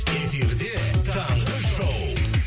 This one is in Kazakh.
эфирде таңғы шоу